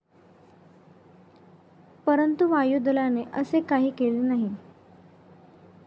परंतु, वायुदलाने असे काही केले नाही.